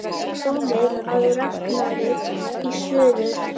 Komið að Ragnari í suður.